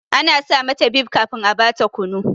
Ana sa mata bib kafin a ba ta kunu.